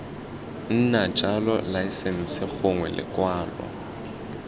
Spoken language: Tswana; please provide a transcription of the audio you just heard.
nna jalo laesense gongwe lekwalo